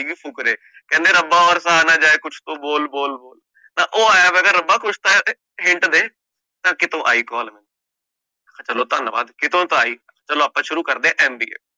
ਫੁਕਰੇ, ਕਹਿੰਦਾ ਰੱਬਾ ਔਰ ਸਹਾ ਨਾ ਜਾਏ ਕੁਛ ਤੋਂ ਬੋਲ ਬੋਲ ਬੋਲ, ਓ ਮੈਂ ਕਹਿ ਰੱਬਾ ਕੁਛ ਤਾਂ hint ਦੇ, ਫੇਰ ਕੀਤੋ ਆਈ ਕੋਲ, ਮੈਂ ਕਹਿ ਚਲੋ ਧੰਨਵਾਦ ਕੀਤੋ ਤਾ ਆਈ, ਆਪ ਸ਼ੁਰੂ ਕਰਦੇ MBA